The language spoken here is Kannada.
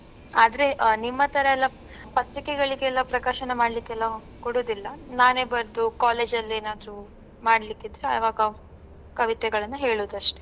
ಆದ್ರೆ ಆ ನಿಮ್ಮತರಎಲ್ಲಾ ಪತ್ರಿಕೆಗಳಿಗೆಲ್ಲ ಪ್ರಕಾಶನ ಮಾಡ್ಲಿಕೆಲ್ಲ ಕೊಡುದಿಲ್ಲ ನಾನೆ ಬರ್ದು college ಅಲ್ಲಿ ಏನಾದ್ರು ಮಾಡ್ಲಿಕ್ಕಿದ್ರೆ ಆವಾಗ ಕವಿತೆಗಳನ್ನು ಹೇಳುದಷ್ಟೆ.